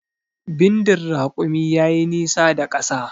Bindin rakumi ya yi nisa da ƙasa